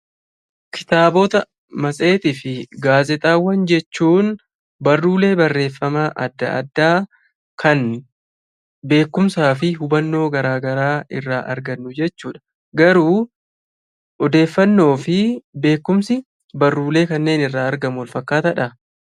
Kitaabota matseetii fi gaazexaawwan jechuun barruulee barreeffama adda addaa kan beekkumsa fi hubannoo irraa argannu jechuudha. Garuu beekkumsii fi odeeffannoon achirtaa argannu wal fakkaataadha?